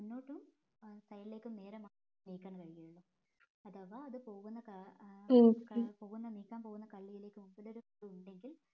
മുന്നോട്ടും side ലേക്കും നേരെ മാ നീക്കാൻ കഴിയുള്ളു അഥവാ അത് പോകുന്ന കാ ഏർ പോവുന്ന നീക്കാൻ പോവുന്ന കള്ളിലേക്ക് മുൻപിലൊരു ഉണ്ടെങ്കിൽ